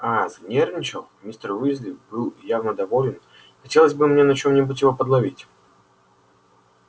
а-а занервничал мистер уизли был явно доволен хотелось бы мне на чем-нибудь его подловить